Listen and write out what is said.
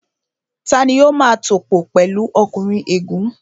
Tani ó máa tòpò pẹ̀lu ọkùnrin ègún?